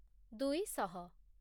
ଦୁଇ ଶହ